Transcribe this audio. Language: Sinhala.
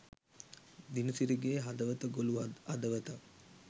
දිනසිරිගේ හදවත ගොලු හදවතක්